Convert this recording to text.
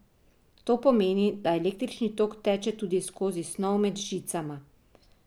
To pomeni, da električni tok teče tudi skozi snov med žicama.